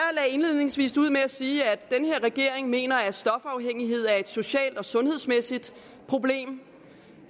indledningsvis ud med at sige at den her regering mener at stofafhængighed er et socialt og sundhedsmæssigt problem